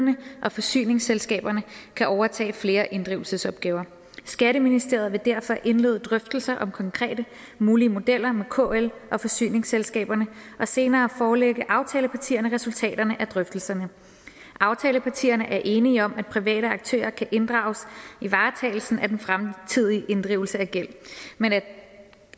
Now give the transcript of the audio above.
og forsyningsselskaber kan overtage flere inddrivelsesopgaver skatteministeriet vil derfor indlede drøftelser om konkrete mulige modeller med kl og forsyningsselskaberne og senere forelægger aftalepartierne resultaterne af drøftelserne aftalepartierne er enige om at private aktører kan inddrages i varetagelsen af den fremtidige inddrivelse af gæld men at